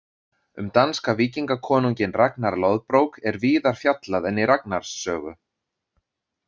Um danska víkingakonunginn Ragnar loðbrók er víðar fjallað en í Ragnars sögu.